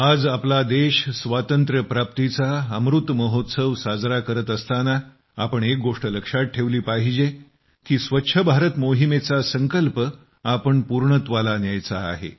आज आपला देश स्वातंत्र्यप्राप्तीचा अमृत महोत्सव साजरा करत असताना आपण एक गोष्ट लक्षात ठेवली पाहिजे की स्वच्छ भारत मोहिमेचा संकल्प आपण पूर्णत्वाला न्यायचा आहे